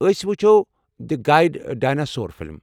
أسۍ وُچھو the good dinosaur film.